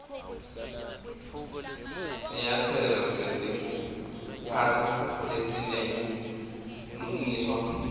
sinyatselo setekuphatsa lesinebulungiswa